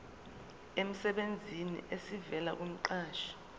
emsebenzini esivela kumqashi